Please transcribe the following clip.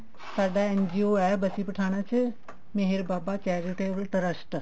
ਸਾਡਾ NGO ਹੈ ਬਸੀ ਪਠਾਣਾ ਚ ਮੇਹਰ ਬਾਬਾ charitable trust